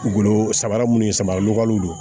Golo samara minnu ye samara lɔgɔliw don